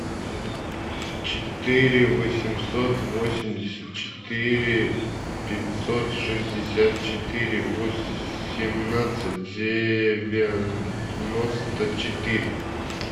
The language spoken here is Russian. четыре восемьсот восемьдесят четыре пятьсот шестьдесят четыре восемнадцать девяносто четыре